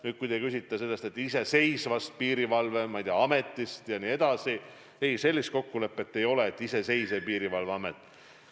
Nüüd, kui te küsite selle iseseisva piirivalve-, ma ei tea, ameti kohta, siis sellist kokkulepet ei ole, et tuleb iseseisev piirivalveamet.